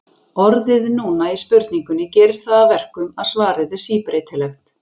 Orðið núna í spurningunni gerir það að verkum að svarið er síbreytilegt.